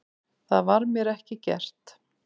Það var mér ekki gert